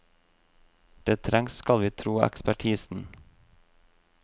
Det trengs, skal vi tro ekspertisen.